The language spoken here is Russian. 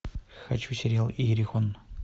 хочу сериал иерихон